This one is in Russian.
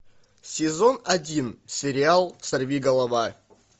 сезон один сериал сорви голова